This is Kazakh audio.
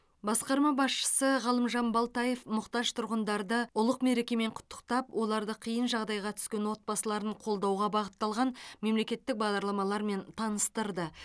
басқарма басшы ғалымжан балтаев мұқтаж тұрғындарды ұлық мерекемен құттықтап оларды қиын жағдайға түскен отбасыларын қолдауға бағытталған мемлекеттік бағдарламалармен таныстырды